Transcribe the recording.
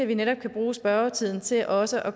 vi netop kan bruge spørgetiden til også at